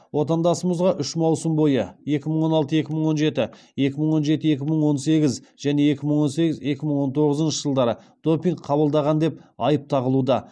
отандасымызға үш маусым бойы допинг қабылдаған деп айып тағылуда